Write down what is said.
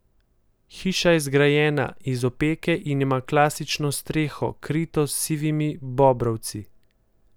Hiša je zgrajena iz opeke in ima klasično streho, krito s sivimi bobrovci.